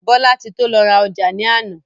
Bolatito lọ ra ọjà ní àná.